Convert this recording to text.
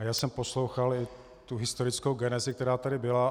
A já jsem poslouchal i tu historickou genezi, která tady byla.